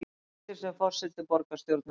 Hættir sem forseti borgarstjórnar